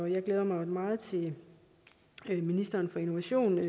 jeg glæder mig meget til at ministeren for innovation